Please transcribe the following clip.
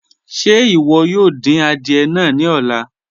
Ṣe iwọ yoo din àdìẹ̀ náà ni ọ̀lá?